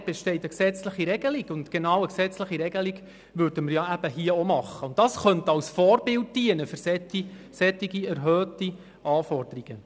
Dort besteht eine gesetzliche Regelung, und hier würden wir ja auch eine gesetzliche Regelung machen.